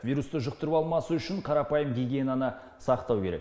вирусты жұқтырып алмас үшін қарапайым гигиенаны сақтау керек